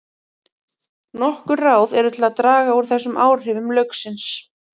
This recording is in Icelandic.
Nokkur ráð eru til að draga úr þessum áhrifum lauksins.